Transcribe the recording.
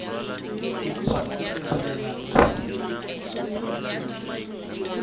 dikgwa tse di tswelelang go